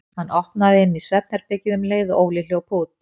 Hann opnaði inn í svefnherbergið um leið og Óli hljóp út.